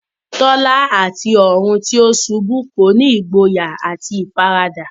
Tola àti ọ̀run tí ó ṣubú kọ́ni ní ìgboyà àti ìfaradà